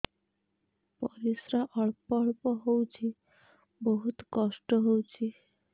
ପରିଶ୍ରା ଅଳ୍ପ ଅଳ୍ପ ହଉଚି ବହୁତ କଷ୍ଟ ହଉଚି